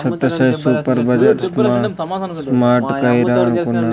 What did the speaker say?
సప్త శేషు సూపర్ బజాజ్ స్ప స్మార్ట్ కైరా అనుకున్నా.